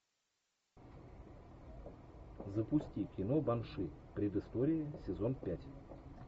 запусти кино банши предыстория сезон пять